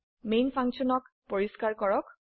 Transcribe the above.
man ফাংশনক পৰিস্কাৰ কৰক